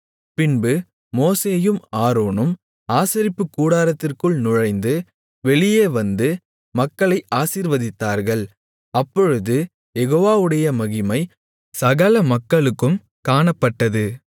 பின்பு மோசேயும் ஆரோனும் ஆசரிப்புக்கூடாரத்திற்குள் நுழைந்து வெளியே வந்து மக்களை ஆசீர்வதித்தார்கள் அப்பொழுது யெகோவாவுடைய மகிமை சகல மக்களுக்கும் காணப்பட்டது